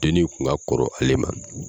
Dennin in tun ka kɔrɔ ale ma.